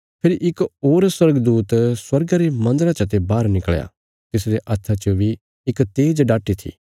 फेरी इक होर स्वर्गदूत स्वर्गा रे मन्दरा चते बाहर निकल़या तिसरे हत्था च बी इक तेज़ डाटी थी